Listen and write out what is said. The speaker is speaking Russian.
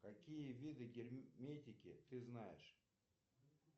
какие виды герметики ты знаешь